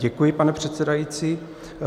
Děkuji, pane předsedající.